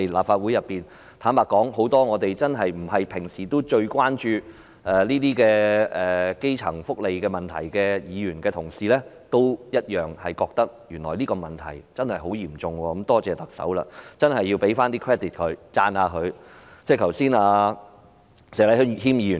坦白說，很多平時並非最關注基層福利問題的議員也同樣認為這個問題確實很嚴重，真的多謝特首，要給她一些 credit， 讚一讚她。